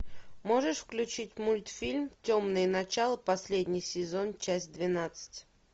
можешь включить мультфильм темные начала последний сезон часть двенадцать